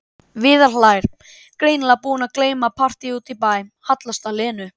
Viðar hlær, greinilega búinn að gleyma partíi úti í bæ, hallast að Lenu.